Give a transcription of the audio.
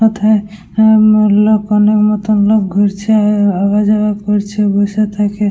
ও থায় মনের মত লোক ঘুরছে আওয়া-যাওয়া করছে বসে থেকে--